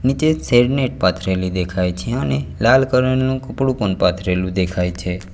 નીચે shade net પાથરેલી દેખાય છે અને લાલ કલર નું કપડું પણ પાથરેલું દેખાય છે.